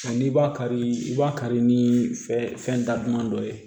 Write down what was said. N'i b'a kari i b'a kari ni fɛn daduman dɔ ye